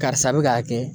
Karisa bɛ k'a kɛ